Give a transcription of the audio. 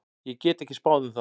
Ég get ekki spáð um það.